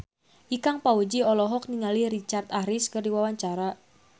Ikang Fawzi olohok ningali Richard Harris keur diwawancara